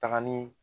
Taga ni